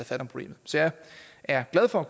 fat om problemet så jeg er glad for at